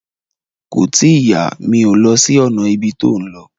Kò tíì yá, mi ò lọ sí ọ̀nà ibi tó lọ